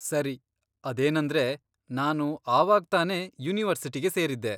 ಸರಿ, ಅದೇನಂದ್ರೆ ನಾನು ಆವಾಗ್ತಾನೆ ಯೂನಿವರ್ಸಿಟಿಗೆ ಸೇರಿದ್ದೆ.